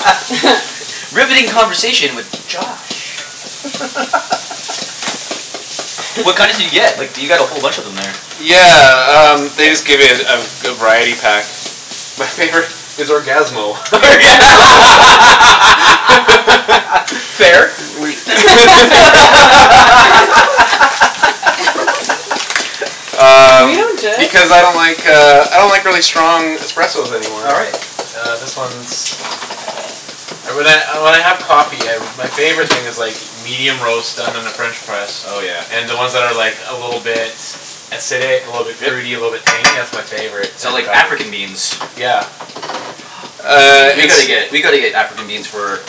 Riveting conversation with Josh. What kind did you get? Like du- you got a whole bunch in there. Yeah um they just give it a a variety pack. My favorite is Orgasmo. Orga- Fair. The favorite Were Um you and Jeff? because I don't like uh I don't like really strong espressos anymore. All right. Uh this one's Uh when I uh when I have coffee my favorite thing is like medium roast done in a french press. Oh yeah. And then ones that are like a little bit Acidic, a little bit fruit a Yep. little bit tangy. That's my favorite So type of like African coffee. beans. Yeah. Ah Uh Burundi We it's gotta beans. get we gotta get African beans for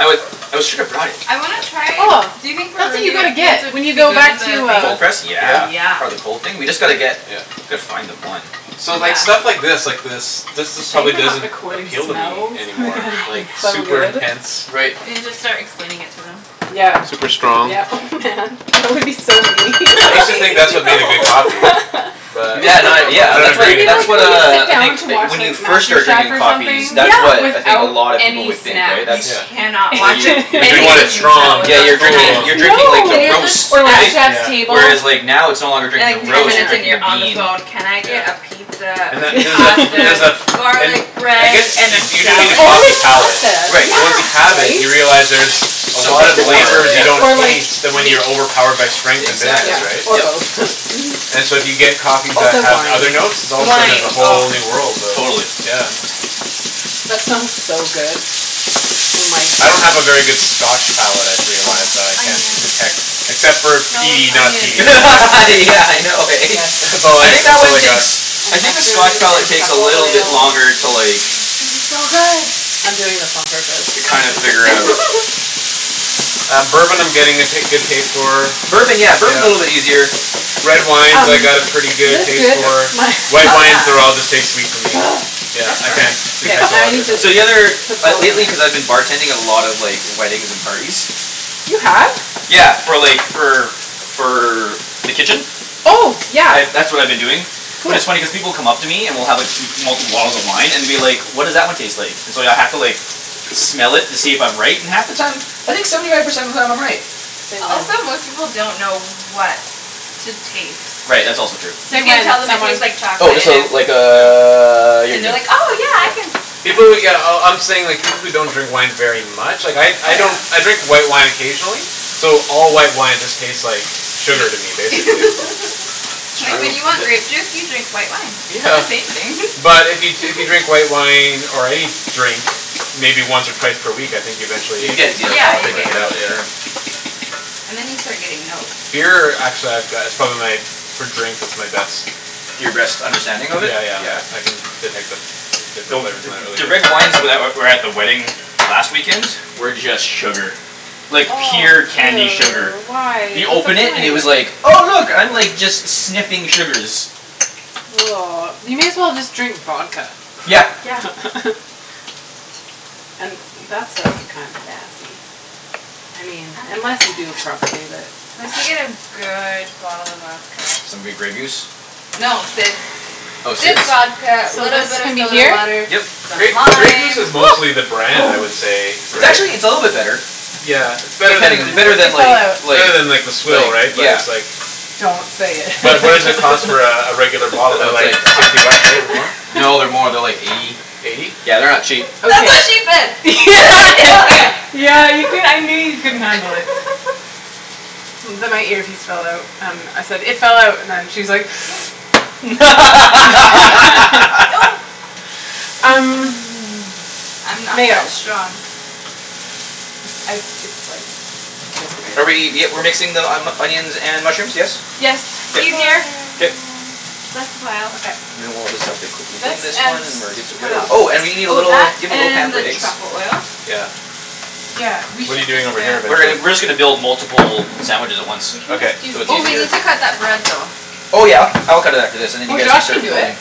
oh we shoulda brought it. I wanna Yeah. try Oh, do you think that's what you Burundi gotta wo- beans get would when you be go good in back to the thing? uh Cold press? Yeah. Yeah? Yeah. Part of the cold thing? We just gotta get Yeah. Gotta find them, one. So like Yeah. stuff like this like this this It's a just shame probably we're not doesn't recording appeal to me smells anymore because like it's so super good. intense. Right. And you just start explaining it to them. Yeah Super strong. yeah oh man that would be so mean I used to think that's what made a good coffee. But Yeah no I yeah don't that's It what agree would be anymore. that's like what when you uh sit I down think to Like watch when you like first Master start Chef drinking or coffees something Yeah. that's what I think a without lot of people any would think snacks. right You that's Yeah. cannot Where watch you you're Like you any drinking want it cooking strong show cuz Yeah without you're you're drinking cool. you're snacks. No. drinking like the Then you're roast just Or like right? effed Chef's Yeah. Table. Whereas like now it's no longer drinking And like You the ten roast you're minutes can't. and drinking you're the on the bean. phone, "Can I get a Yeah. pizza, And that some there's a fl- there's pasta, a f- garlic and I bread, guess and you a you do need salad?" It's a coffee always palate, pasta, but Right. once you Yeah. have it right? you realize there's A So lot of much more, flavors you yes. don't Or like taste when meat. you're overpowered by strength and Exactly, Yeah. bitterness, right? Or yep. both. And so if you get coffee that Also have other wine. notes All of a sudden there's Wine, a oh. whole new world of Totally. The yeah. wine. That smells so good. Oh my I don't have a very good goodness. scotch palate I've Oh, realized that I can't onions. detect Except for The a smell of peaty and not onion peaty is my favorite. Yeah I know eh? Yes. That's It's all I I think that that's all one I got. takes I And think the scotch mushrooms, and palate takes a truffle little bit oil. Uh longer it's to like going to be so good. I'm doing this on purpose To kinda figure out. Um bourbon I'm getting a ta- good taste for Bourbon yeah Yeah. bourbon's a little bit easier. Red wines I Um, got a pretty is good this taste good? for My Oh White wines they're all yeah. just taste sweet to me. Yeah That's I can't perfect. K, detect a now I lot of need to differences. So the other put like salt in lately it. cuz I've been bartending a lot of like weddings and parties You have? Yeah for like for for the kitchen? Oh yeah, I've that's what I've been doing But it's funny cuz cool. people come up to me and will have m- multiple bottles of wine and will be like, "What does that one taste like?" And so I'd h- have to like smell it to see if I'm right and half the time I think seventy five percent of the time I'm right. Say Also when. most people don't know what to taste. Right that's also true. Say You can when, tell them it someone. tastes like Oh chocolate and this'll it's like uh you're And they're good. like, "Oh yeah I Yeah. can". Yeah. People who yeah oh I'm saying people who don't drink wine very much. Like I Oh I yeah. don't I drink white wine occasionally So all white wine just taste like Sugar to me Shitty basically. It's Uh Like when true. you want th- grape juice you drink white wine. They're the Yeah. same thing But if you t- if you drink white wine or any Drink maybe once or twice per week I think eventually You you could get Yeah, you get start a palate you for it picking get it yeah out for yeah. sure. And then you start getting notes. Beer actually I've go- it's probably my for drink that's my best. Your best Yeah understanding of it? yeah Yeah. yeah I can detect the different different Though flavors in th- that really the red good. wines that were at the wedding last weekend were just sugar. Like pure candy sugar. Ew, why You what's the open it and it point? was like Oh look I'm like just sniffing sugars. You may as well just drink vodka Yeah. Yeah. And that stuff's kinda nasty I mean unless you do it properly but Unless you get a good bottle of vodka. Some good Grey Goose? No, Sid's Oh Sid's Sid's vodka, So little this bit of can be soda here? water, Yep. some Grey Grey Goose lime. is mostly the brand I would say, It's right? actually it's a little bit better. Yeah, it's better Pretending i- than better It than fell like out. It's like better than like the swill right? like But yeah it's like Don't say But what does it it. cost for a regular bottle? They're That's like like hun- sixty bucks right? Or more? No they're more they're like eighty. Eighty? Yeah, they're not cheap. That's Okay what she Yeah. said do yeah it. yeah you cou- I knew you couldn't handle it. The my earpiece fell out. Um I said it fell out and she's like Um I'm not mayo. that strong. It's I it's like just Are we barely. y- we're mixing the onions and mushrooms, yes? Yes, I'm it's K sure easier. Ian Um K. um. less pile. Okay. And then we'll just have to quickly This clean this and one and we're good to what go. else? Oh and we need a Oh, little do that you have a little pan and for the eggs? truffle oil. Yeah. Yeah, we What're you should just doing over here get. We're getting basically? we're just gonna build multiple sandwiches at once. We can Okay. just do So it's Oh these. we easier. need to cut that bread though. Oh yeah I'll ca- I'll cut it after this and then you Or guys can Josh can start do it. building.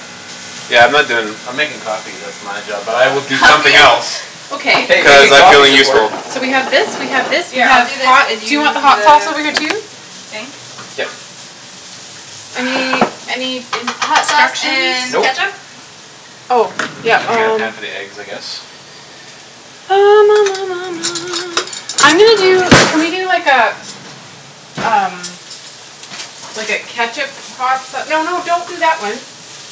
Yeah I'm not doin' I'm makin' coffee that's my job but I will do Oh Coffee? somethin' else. Okay. Hey, Cuz I making like coffee's feeling important. useful. So we have this we have this we Yeah I'll have do this hot and do you want you the do hot sauce the over here too? thing? Yep. Any any Hot sauce instructions? and Nope. ketchup? Oh yeah I'm gonna get a pan um for the eggs, I guess. I'm gonna Oh, do bagels. can we do like uh Um like a ketchup hot sa- no no don't do that one.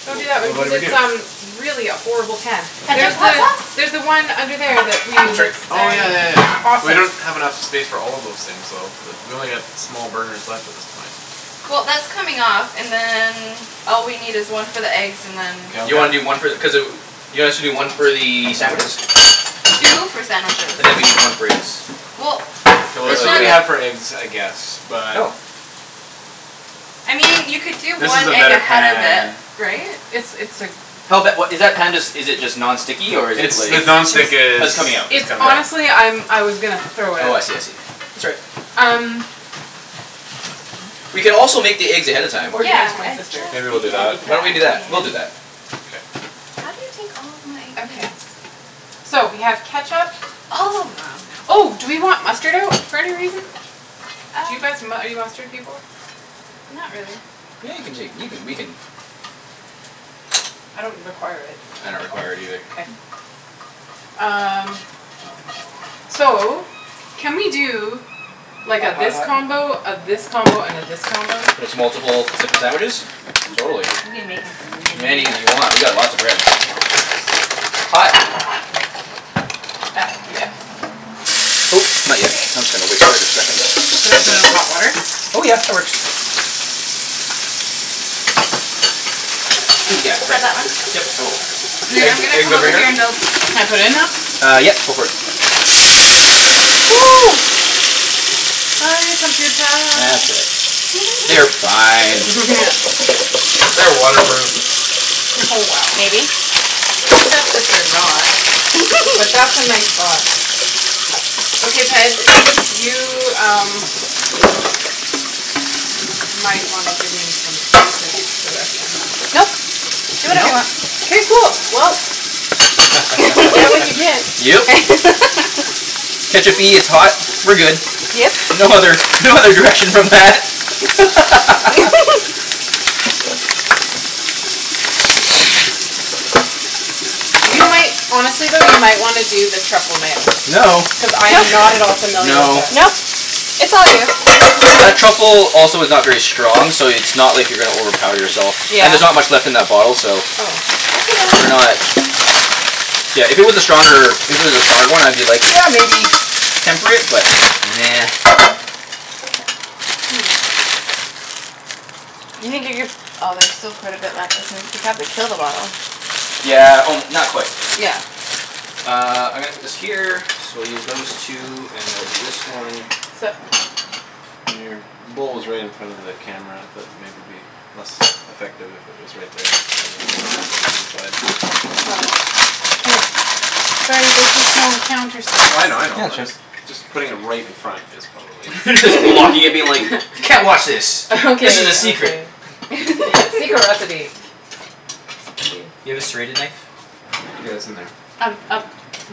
Well Don't do that wait one what cuz did we it's um do? really a horrible pan. Ketchup There's hot the sauce? there's the one under there that we I'm use sorry. it. Oh yeah yeah yeah we Awesome. don't have enough space for all of those things though. We only got small burners left at this point. Well that's coming off and then all we need is one for the eggs and then K I'll You wanna grab do one for the cuz uh you want us to do one for the sandwiches? Two for sandwiches. And then we need one for eggs. Well K Cuz we're it's it's really not really cutting not for eggs I guess Oh but I mean you could do This is one a egg better ahead of it, pan right? It's it's a Hell bet what is that pan just is it just non It's stick or is it It's like just the non-stick Oh is it's it's coming coming out out. It's right honestly I'm I was gonna throw it Oh I out. see I see. That's all right. Um. We can also make the eggs ahead of time. Or give it to Yeah my I sister Maybe we'll do just that. Why said don't we do that? that We'll do that. Ian K. How do you take all of my Okay. ideas? So we have ketchup. All of them. Oh do we want mustard out for any reason? Do you Uh. guys mu- are you mustard people? Not really. Yeah you can take you can we can I don't require it. I don't require it either. K. Um so can we do Like a Hot hot this hot combo, a this combo and a this combo? Just multiple types of sandwiches? Totally. We can make as Many many as you want, we got lots of bread. Hot. That yeah. Oh not yet Okay. I'm just gonna wait here a second. Should I put in hot water? Oh yeah, that works. Oh yeah Got right. that one? Yep, I will. And then I'm Eg- gonna eggs come over over here and here? build. Can I put it in now? Uh yep go for it. Sorry computah That's all right. They're fine. Yeah. They're waterproof. Oh wow. Maybe. Except that they're not. But that's a nice thought. Okay Ped, you um Might wanna give me some basic direction. Nope, do whatever you Nope. want. K cool well You get what you get. Yep. ketchup-y, it's hot. We're good. Yep. No other no other direction from that You might honestly though you might wanna do the truffle mayo. No Cuz I No am not at all familiar with No it. Nope, it's all you. That truffle also is not very strong so it's not like you're gonna overpower yourself. Yeah. And there's not much left in that bottle so Oh. Okay then. We're not. Yeah, if it was a stronger if it was a stronger one I'd be like, "Yeah maybe". Temper it, but nah. You can get your oh there's still quite a bit left isn't you'll probably kill the bottle. Yeah o- not quite. Yeah. Uh I'm gonna put this here so we'll use those two and we'll do this one Sup? Your bowl is right in front of the camera. That maybe be less effective if it was right there rather than a little bit to the side. Oh. K. Sorry, there's just no counter space. Well I know I know. Yeah it's I'm right. just just putting it right in front is probably Just blocking it being like. "Can't watch this. This is a Okay secret." okay. Yeah secret recipe. Let's see. You have a serrated knife? Yeah, it's in there. Um up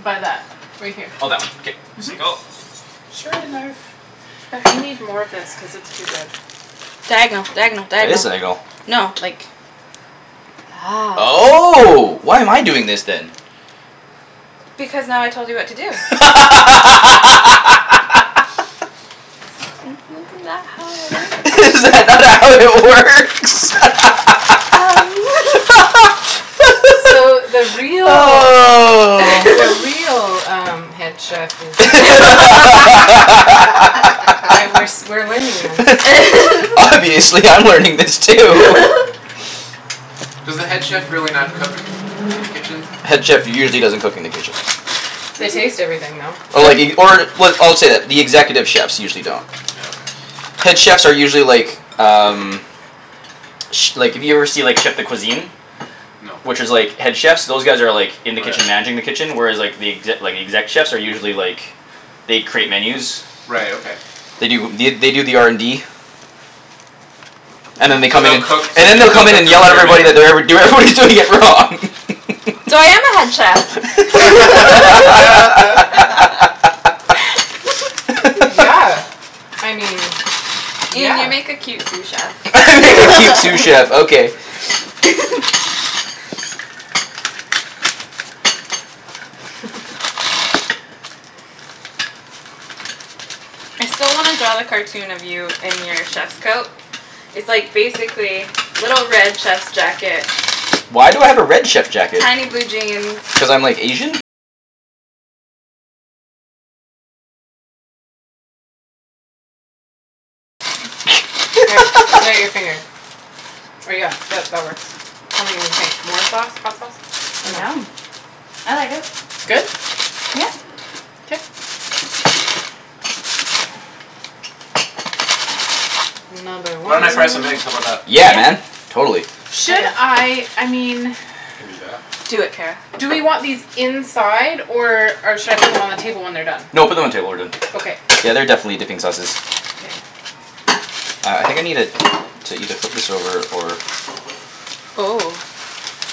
by that right here. Oh that one K. Mhm. sank O. Serrated knife. Okay. They need more of this cuz it's too good. Diagonal diagonal That is diagonal. diagonal. No like That's Oh why am I doing this then? Because now I told you what to do. Isn't that how it works? Is that not how it works? Um So the real the real um head chef is uh Aight, we're s- we're learning this. Obviously I'm learning this too Does the head chef really not cook in the kitchen? Head chef usually doesn't cook in the kitchen. They taste Mhm. everything though. Oh like if you or w- I'll say that executive chefs usually don't. Yeah, okay. Head chefs are usually like um Ch- like if you ever see like chef de cuisine. No. Which is like head chefs those guys are like Oh In the kitchen yeah. managing the kitchen whereas like The exe- the exec chefs are usually like They create menus Right, okay. They do the they do the R N D And then they So come in they'll and cook And then to they'll they'll come in cook and to yell at experiment everybody then. that they're ever- do- everybody's doing it wrong So I am a head chef. Yeah, I mean, Ian yeah. you make a cute sous chef. I make a cute sous chef okay. I still wanna draw the cartoon of you in your chef's coat. It's like basically little red chef's jacket Tiny blue jeans K, put out your finger. Or yeah that that works. Tell me what you think. More sauce? Hot sauce? Or no? Yum. I like it. It's good? Yeah. K. Another Why one. don't I fry some eggs? How 'bout that? Yeah Yeah. man, totally. Should Okay. I I mean I can do that. Do it, Kara. Do we want these inside or uh should I put them on the table when they're done? No put them on the table when they're Okay. done. Yeah they're definitely dipping sauces. K. Uh I think I needed to either flip this over or Oh.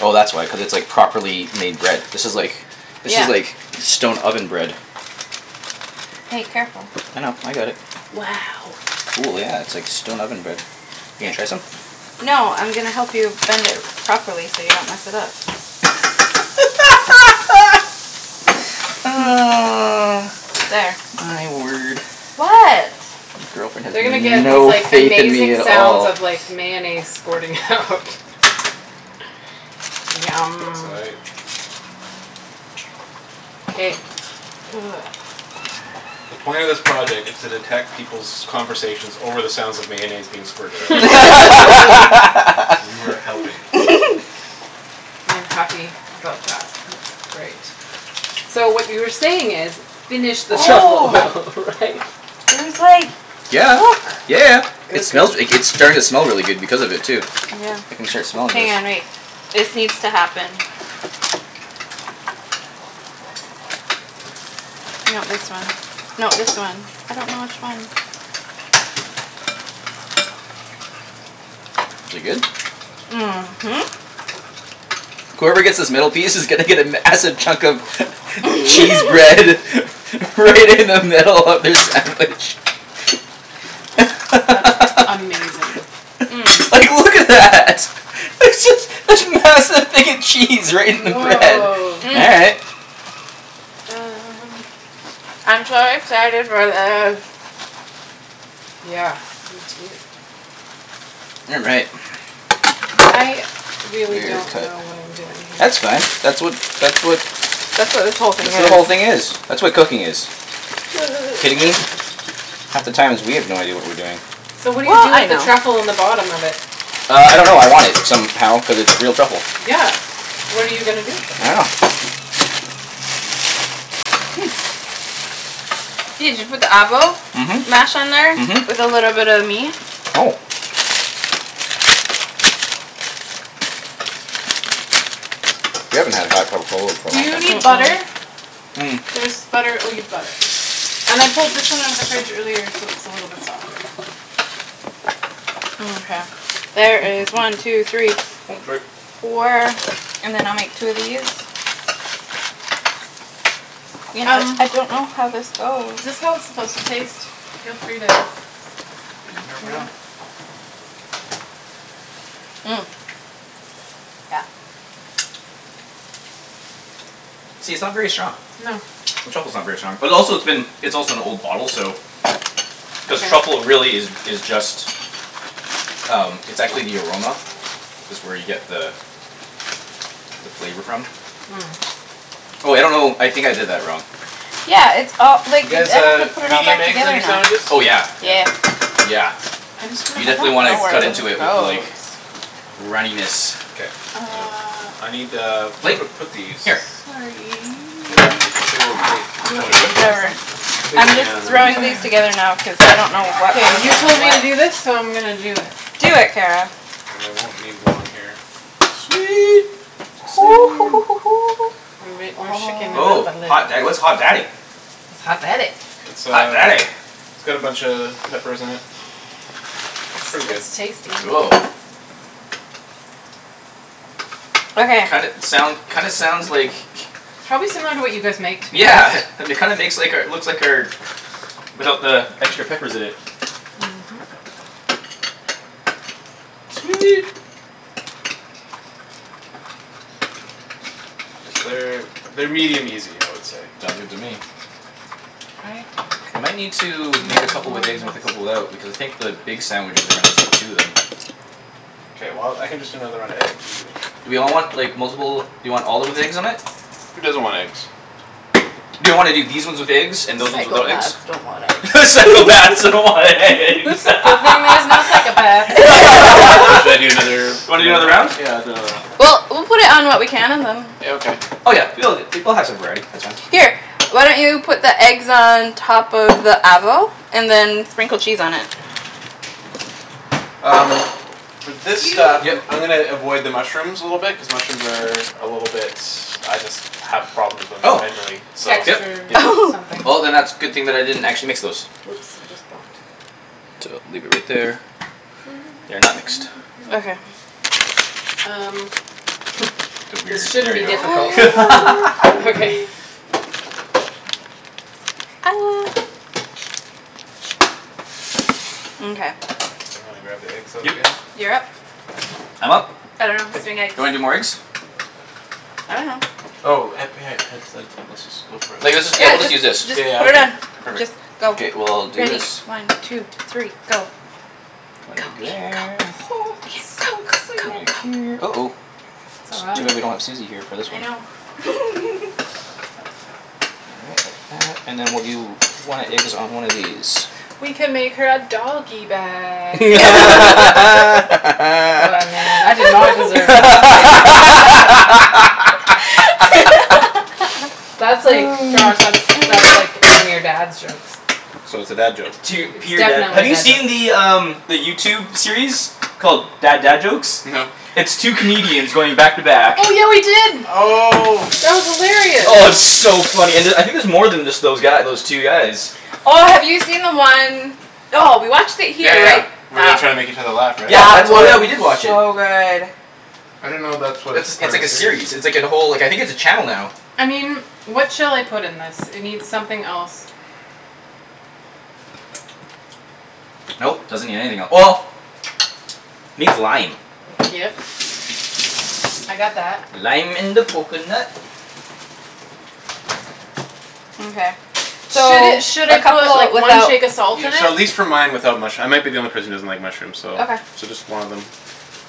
Oh that's why cuz it's like properly made bread. This is like This Yeah. is like stone oven bread. Hey, careful. I know, I got it. Wow. Cool yeah it's like stone oven bread. You gonna try some? No I'm gonna help you bend it properly so you don't mess it up. There. My word. What? Girlfriend They're gonna has get these no like faith in me amazing at sounds all. of like mayonnaise squirting out It's Yum. aight. K. The point of this project is to detect peoples' conversations over the sounds of mayonnaise being squirted out. And you are helping. I'm happy about that. That's great. So what you were saying is, "Finish this truffle Oh oil", right? There's like, Yeah yeah look yeah Good it good. smells g- like it's starting to smell really good because of it too. I can start Yeah. smelling Hang this. on, wait. This needs to happen. No this one. No this one. I don't know which one. Is it good? Mhm. Whoever gets this middle piece is gonna get a massive chunk of Cheese bread Right in the middle of their sandwich. That's amazing. Like look at that. There's this this massive thing of cheese right in the bread. Woah. All right. Um. I'm so excited for this. Yeah, me too. You're right. I really Weird don't cut. know what I'm doing here. That's fine. That's what that's what That's what this whole That's thing what is. the whole thing is. That's what cooking is. Kidding me? Half the times we have no idea what we're doing. So what do you Well, do I with the know. truffle in the bottom of it? Uh I don't know. I want it. Somehow. Cuz it's real truffle. Yeah, what are you gonna do with it? I dunno Ian, did you put the avo? Mhm. Mhm. Mash on there? With a little bit of meat? Oh. We haven't had a hot cup of Kahlua for a Do long you time. need Mm- butter? mm. There's butter oh you've got it. And I pulled this one out of the fridge earlier so it's a little bit softer. Mkay. There is one two three Oh f- sorry. four and then I'll make two of these. Ian uh I don't know how this goes. Is this how it's supposed to taste? Feel free to. These in here right off. Yeah. See, it's not very strong. No. The truffle's not very strong. But also it's been it's also an old bottle so Cuz Yeah. truffle really is is just Um it's actually the aroma. That's where you get the The flavor from. Oh I don't know. I think I did that wrong. Yeah, it's all You like i- guys I need uh to put it all medium back eggs on together your now. sandwiches? Oh yeah Yeah. Yeah. yeah. I'm just gonna I You steal don't definitely wanna know where cut this into it off with goes. like runniness. K Uh um I need a Plate? plate to put these. Here. Sorry. Get that big ol' plate for Looking everyone. for Whatever. some Big I'm one just yeah and then I'll Okay throwing just these okay okay together now cuz I don't know what K, goes you with told me to what. do this so I'm gonna do it. Do it, Kara. And I won't need one here. Sweet exciting. We're shakin' it Oh. up Oh a little. hot da- what's hot daddy? It's hot daddy. It's Hot um daddy it's got a buncha peppers in it. It's pretty It's good. it's tasty. Cool Okay. Kinda soun- kinda sounds like Probably similar to what you guys make to be Yeah honest. um it kinda makes like our looks like our Without the extra peppers in it. Mhm. Sweet Cuz they're they're medium easy I would say. Sounds good to me I think We might need to we make a make couple more of with eggs and with a this. couple out. Because I think the big sandwiches are gonna take two of them. K well I can just do another round of eggs, easy. Do we all want like multiple do we all of 'em with eggs on it? Who doesn't want eggs? Do you wanna do these ones with eggs and those ones without eggs? Psychopaths don't want Psychopaths eggs. don't want eggs. Good thing there's no psychopaths here. So should I do another Wanna do another round round? of them? Yeah I'll do another round. K Well we'll put it on what we can and then Yeah, okay. Oh yeah. She loves it. She we'll have some variety, that's fine. Here, why don't you put the eggs on top of the avo and then sprinkle cheese on it? Um for this Do you stuff Yep. I'm gonna avoid the mushrooms a little bit cuz mushrooms are A little bit I just have problems with them Oh mentally so yep Texture yeah. Oh something. Well then that's good thing that I didn't actually mix those. Oops, I just bonked. leave it right there. They're not mixed. Okay. Um The weird This shouldn't there be difficult we go I love okay. you Mkay. I'm gonna grab the eggs out Yep again. You're up. I'm up? I dunno who's doing eggs. Do you wanna do more eggs? I dunno. Oh epi- had Ped said let's just go for it. Like Yeah, let's just yeah we'll just just use this just Yeah yeah put it okay on. Just perfect. go. K well I'll do Ready, this. one two three go. One Go egg Ian there. So go. Ian go Come in excited. go here. go go. Uh oh It's It's all right. too bad we don't have Susie here for this I one. know. All right like that and then we'll do one egg is on one of these. We can make her a doggy bag. Oh man, I did not deserve laughter. That's like, Josh, that's that's like one of your dad's jokes. So it's a dad joke. It's tear It's pure dad definitely have a you dad joke. see the um The YouTube series called Bad Dad Jokes? No. It's two comedians going back to back Oh yeah we did. Oh That was hilarious. Oh and it's so funny and uh I think there's more than just those guy those two guys. Oh have you seen the one. Oh we watched it Yeah here right? yeah where they're That trying to make each other laugh right? Yeah that that's oh we was did watch it. so good. I didn't know that That's a was it's part of like a a series. series. It's like a whole I think it's a channel now. I mean, what shall I put in this? It need something else. Nope, doesn't need anything el- well Needs lime. Yep. I got that. Lime in the coconut. Mkay. So Should it should a I call couple it like one without shake of salt in Yeah so at it? least for mine without mush- I might be the only person that doesn't like mushrooms so Okay. so just one of them.